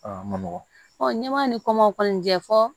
n'i ma nin kumaw kɔni kɛ fɔ